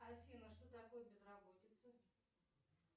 афина что такое безработица